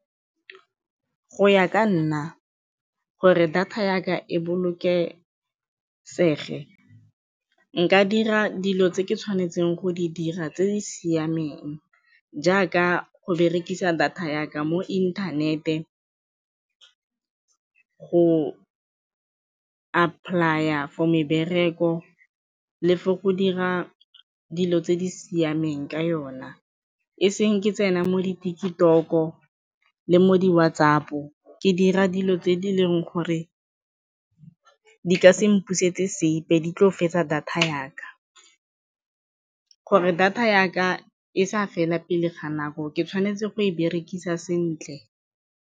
Go ya ka nna gore data ya ka e bolokesege, nka dira dilo tse ke tshwanetseng go di dira tse di siameng jaaka go berekisa data ya ka mo inthanete go apply-a for mebereko le for go dira dilo tse di siameng ka yona e seng ke tsena mo di-TikTok-o le mo di-WhatsApp-o ke dira dilo tse di leng gore di ka se mpusetse sepe, di tlo fetsa data ya ka. Gore data ya ka e sa fela pele ga nako ke tshwanetse go e berekisa sentle.